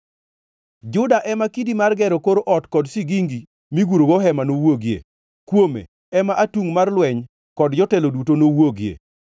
Juda ema kidi mar gero kor ot kod sigingi migurogo hema nowuogie. Kuome ema atungʼ mar lweny, kod jotelo duto nowuogie.